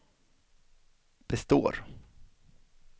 består